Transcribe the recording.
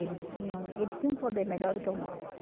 Eles tinham eles tinham poder melhor do que o nosso.